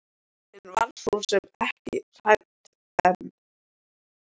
Hún var svo sem ekki hrædd en.